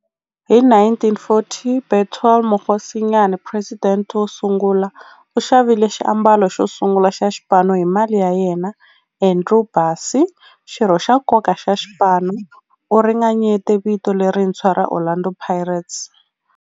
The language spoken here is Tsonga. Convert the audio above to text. Hi 1940, Bethuel Mokgosinyane, president wosungula, u xavile xiambalo xosungula xa xipano hi mali ya yena. Andrew Bassie, xirho xa nkoka xa xipano, u ringanyete vito lerintshwa ra 'Orlando Pirates'.